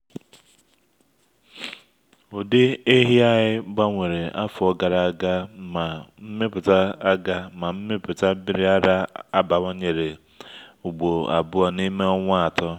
ụdị ehi anyị gbanwere afọ gara aga ma mmịpụta aga ma mmịpụta nmiri ara abawanyere ugboro abụọ n’ime ọnwa atọ.